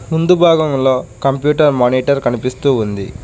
ముందు భాగములో computer monitor కనిపిస్తూ ఉంది.